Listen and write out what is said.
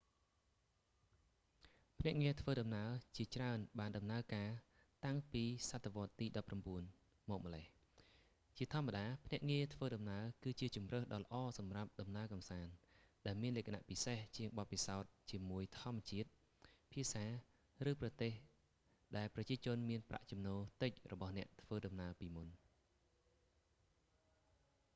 ភ្នាក់ងារធ្វើដំណើរជាច្រើនបានដំណើរការតាំងពីសតវត្សទី19មកម្លេះ ជាធម្មតា ភ្នាក់ងារធ្វើដំណើរ គឺជាជម្រើសដ៏ល្អសម្រាប់ដំណើរកម្សាន្ត ដែលមានលក្ខណៈពិសេសជាងបទពិសោធន៍ជាមួយធម្មជាតិ ភាសា ឬប្រទេសដែលប្រជាជនមានប្រាក់ចំណូលតិចរបស់អ្នកធ្វើដំណើរពីមុន